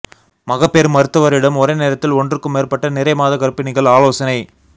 மகப்பேறு மருத்துவரிடம் ஒரே நேரத்தில் ஒன்றுக்கும் மேற்பட்ட நிறைமாத கர்ப்பிணிகள் ஆலோசனை